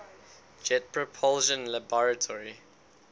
jet propulsion laboratory